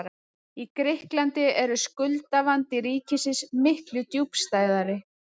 Í Grikklandi er skuldavandi ríkisins miklu djúpstæðari.